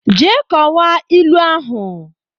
Jee kọwaa ilu ahụ!